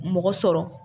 Mɔgɔ sɔrɔ